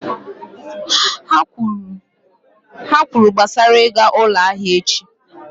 Ha kwuru gbasara ịga ụlọ ahịa echi